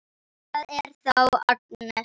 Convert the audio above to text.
Það er þá Agnes!